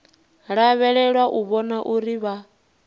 lavhelelwa u vhona uri vha